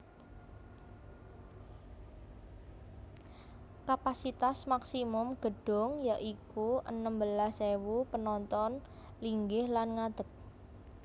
Kapasitas maksimum gedung ya iku enem belas ewu penonton linggih lan ngadek